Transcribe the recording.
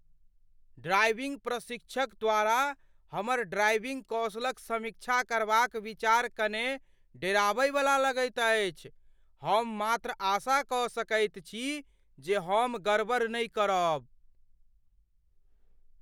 Driving प्रशिक्षक द्वारा हमर ड्राइविङ्ग कौशलक समीक्षा करबाक विचार कने डेराबइवला लगैत अछि। हम मात्र आशा कऽ सकैत छी जे हम गड़बड़ नहि करब।